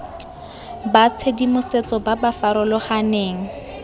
ba tshedimosetso ba ba farologaneng